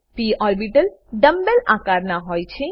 પ orbital dumb bell dumb bell આકાર ના હોય છે